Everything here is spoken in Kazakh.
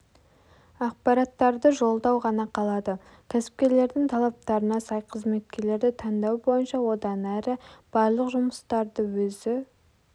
ақпараттарды жолдау ғана қалады кәсіпкерлердің талаптарына сай қызметкерлерді таңдау бойынша одан әрі барлық жұмыстарды өзі